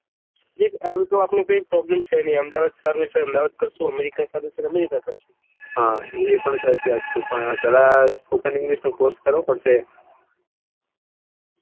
જીત સારું તો આપડે કોઈ problem છે નહિ અહેમદાબાદ સારું છે અહેમદાબાદ કરીશું અમેરિકા સારું છે અમેરિકા કરીશું હા એ પણ સાચી વાત છે પણ પેહલા spoken english નો course કરવો પડશે